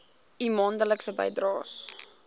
u maandelikse bydraes